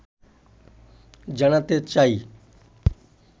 জানাতে চাই